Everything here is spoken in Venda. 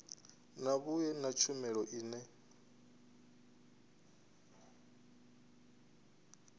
na vhui na tshumelo ine